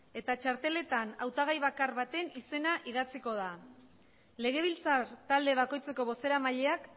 eta txarteletan hautagai bakar baten izena idatziko da legebiltzar talde bakoitzeko bozeramaileak